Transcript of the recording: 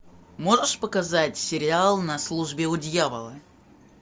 можешь показать сериал на службе у дьявола